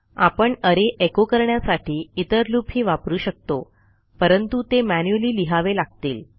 आपण अरे एचो करण्यासाठी इतर लूपही वापरू शकतो परंतु ते मॅन्युअली लिहावे लागतील